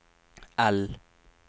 L